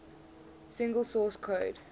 single source code